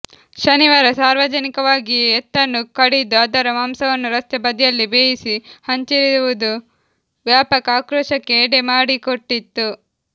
ಶನಿವಾರ ಸಾರ್ವಜನಿಕವಾಗಿಯೇ ಎತ್ತನ್ನು ಕಡಿದು ಅದರ ಮಾಂಸವನ್ನು ರಸ್ತೆ ಬದಿಯಲ್ಲೇ ಬೇಯಿಸಿ ಹಂಚಿರುವುದು ವ್ಯಾಪಕ ಆಕ್ರೋಶಕ್ಕೆ ಎಡೆ ಮಾಡಿಕೊಟ್ಟಿತ್ತು